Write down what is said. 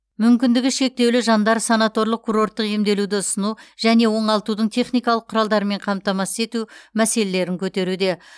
мүмкіндігі шектеулі жандар санаторлық курорттық емделуді ұсыну және оңалтудың техникалық құралдарымен қамтамасыз ету мәселелерін көтеруде